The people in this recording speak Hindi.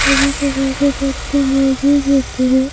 सभी प्रकार के पत्ते मौजूद होते हैं।